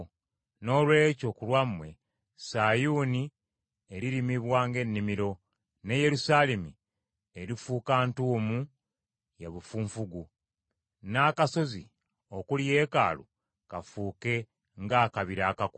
Noolwekyo ku lwammwe, Sayuuni eririmibwa ng’ennimiro, ne Yerusaalemi erifuuka ntuumu ya bifunfugu, n’akasozi okuli yeekaalu kafuuke ng’akabira akakutte.